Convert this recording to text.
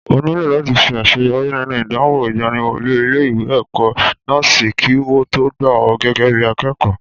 O nílò làti ṣe àṣeyọrí nínú ìdánwò ìgbaniwọlé ilé ìwé ẹ̀kọ́ nọ́ọ́sì kí wo tó gbà ọ gégé bí akẹẹkọ